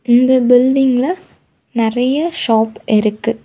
இந்த பில்டிங்கில்ல நெறைய ஷாப் இருக்கு.